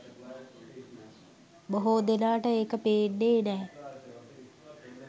බොහෝ දෙනාට ඒක පේන්නේ නෑ